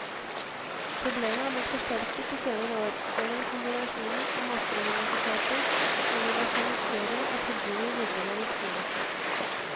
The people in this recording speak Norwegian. Problemet er blitt forsterket de senere år gjennom kombinasjonen av masseuniversitet og diversifisering av tilbudet i videregående skole.